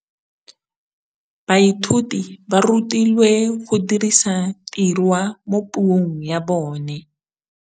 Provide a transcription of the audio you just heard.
Baithuti ba rutilwe go dirisa tirwa mo puong ya bone.